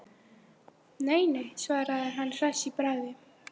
Nei, nei, svaraði hann hress í bragði.